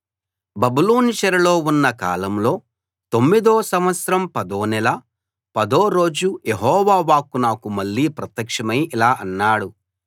బబులోను చెరలో ఉన్న కాలంలో తొమ్మిదో సంవత్సరం పదో నెల పదో రోజు యెహోవా వాక్కు నాకు మళ్ళీ ప్రత్యక్షమై ఇలా అన్నాడు